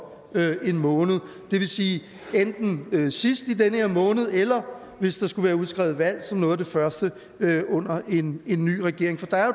en måned det vil sige enten sidst i den her måned eller hvis der skulle være udskrevet valg som noget af det første under en ny regering for der er